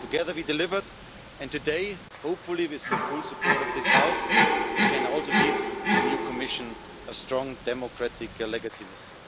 Together we delivered, and today, hopefully with the full support of this House, we can also give the new Commission a strong democratic legitimacy.